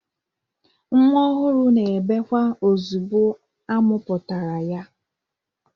Nwa ọhụrụ na-ebekwa ozigbo a mụpụtara ya.